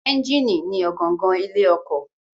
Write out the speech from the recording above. Ẹ́ńjínì ni ọ̀gangan ilé ọkọ̀.